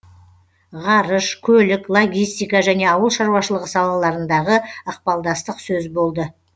ғарыш көлік логистика және ауыл шаруашылығы салаларындағы ықпалдастық сөз болды